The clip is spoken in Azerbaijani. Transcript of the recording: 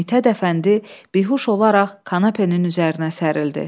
Mithət Əfəndi bihuş olaraq kanapenin üzərinə sərildi.